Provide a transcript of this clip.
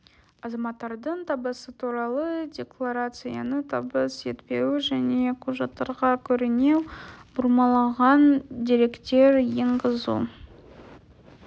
азаматтардың табысы туралы декларацияны табыс етпеуі және құжаттарға көрінеу бұрмаланған деректер енгізу